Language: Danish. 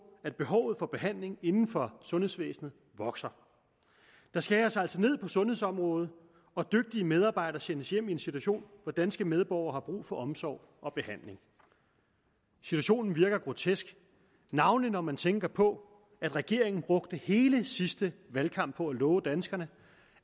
at behovet for behandling inden for sundhedsvæsenet vokser der skæres altså ned på sundhedsområdet og dygtige medarbejdere sendes hjem i en situation hvor danske medborgere har brug for omsorg og behandling situationen virker grotesk navnlig når man tænker på at regeringen brugte hele sidste valgkamp på at love danskerne